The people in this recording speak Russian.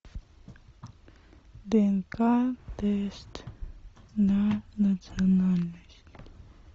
днк тест на национальность